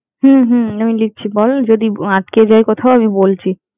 হম হম আমি লিখছি বল, যদি আটকে যাই কোথাও আমি বলছি।